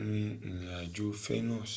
irin ajo fenus